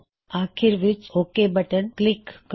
ਆਖਿਰ ਵਿੱਚ okay button click ਕਰੋ